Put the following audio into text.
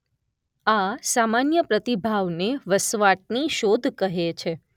આ સામાન્ય પ્રતિભાવને વસવાટની શોધ કહે છે.